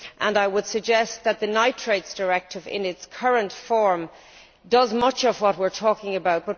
I would suggest that the Nitrates Directive in its current form does much of what we are talking about.